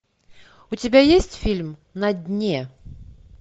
у тебя есть фильм на дне